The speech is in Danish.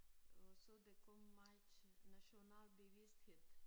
Og så der kom meget national bevidsthed